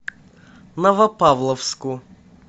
новопавловску